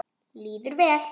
Líður vel.